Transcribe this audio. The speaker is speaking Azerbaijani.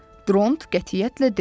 Dront qətiyyətlə dedi.